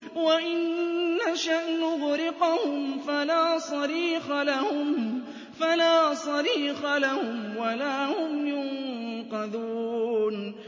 وَإِن نَّشَأْ نُغْرِقْهُمْ فَلَا صَرِيخَ لَهُمْ وَلَا هُمْ يُنقَذُونَ